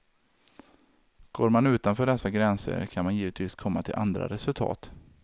Går man utanför dessa gränser, kan man givetvis komma till andra resultat.